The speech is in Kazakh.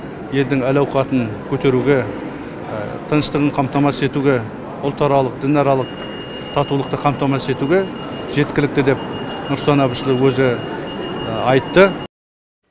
елдің әл ауқатын көтеруге тыныштығын қамтамасыз етуге ұлтаралық дінаралық татулықты қамтамасыз етуге жеткілікті деп нұрсұлтан әбішұлы өзі айтты